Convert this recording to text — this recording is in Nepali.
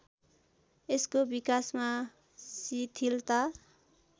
यसको विकासमा शिथिलता